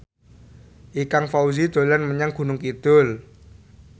Ikang Fawzi dolan menyang Gunung Kidul